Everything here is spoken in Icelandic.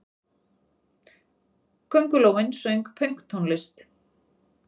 Köngulóin söng pönktónlist!